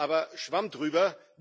Aber Schwamm drüber.